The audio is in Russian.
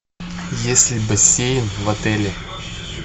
есть ли бассейн в отеле